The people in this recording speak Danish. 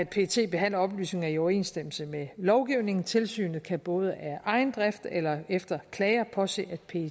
pet behandler oplysninger i overensstemmelse med lovgivningen tilsynet kan både af egen drift eller efter klager påse